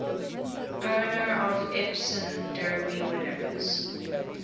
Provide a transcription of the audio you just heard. owner of epsom derby winners